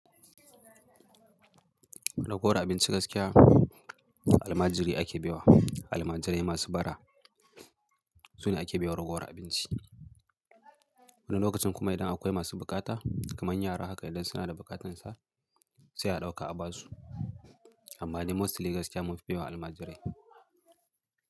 Raguwar abinci gaskiya almajiri ake baiwa. Almajirai masu bara su ne ake baiwa raguwar abinci. Wani lokacin kuma idan akwai masu bukata kamar yara haka idan suna da bukatansa sai a ɗauka a ba su. Amma dai mostly gaskiya mun fi baiwa almajirai.